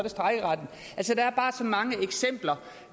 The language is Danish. mange eksempler